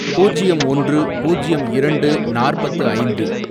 பூஜ்யம் ஒன்று, பூஜ்யம் இரண்டு, நாற்பத்து ஐந்து